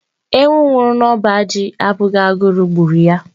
Ewu nwụrụ na ọba ji abụghị agụrụ gburu ya.